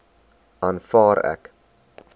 aanvaar ek